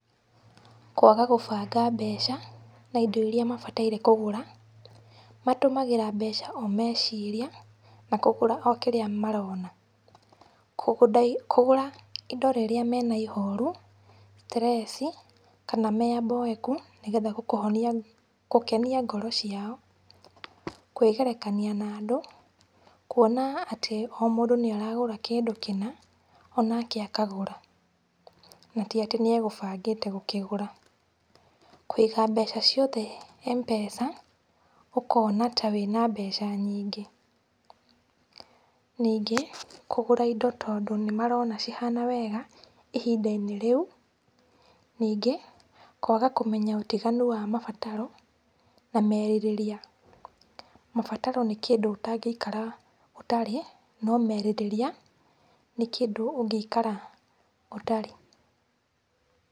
Kwaga gũbanga mbeca na ĩndo iria mabataire kũgũra. Matũmagĩra mbeca o meciria na kũgũra o kĩrĩa marona. Kũgũra indo rĩrĩa mena ĩhorũ, stress, kana me aboeku nĩ getha gũkenia ngoro ciao. Kwĩgerekania na andũ. Kuona atĩ o mũndũ nĩ aragũra kĩndũ kĩna o nake akagũra na ti atĩ nĩegũbangĩte gũkĩgũra. Kũiga mbeca ciothe mpesa, ũkona ta wĩna mbeca nyingĩ. Ningĩ, kũgũra indo tondũ nĩ marona cihana wega ihindainĩ rĩu. Ningĩ, kwaga kũmenya ũtiganu wa mabataro na merirĩria. Mabataro nĩ kĩndũ ũtangeikara ũtarĩ, no merirĩria nĩ kĩndũ ũngĩikara ũtarĩ.